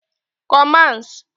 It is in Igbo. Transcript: Commands